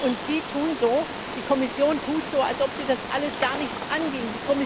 Und Sie die Kommission tun so, als ob Sie das alles gar nichts anginge.